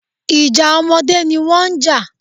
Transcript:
Ìjà ọmọdé ni wọ́n ń jà